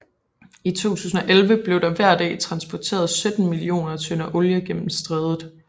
I 2011 blev der hver dag transporteret 17 millioner tønder olie gennem strædet